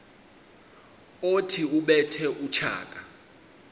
othi ubethe utshaka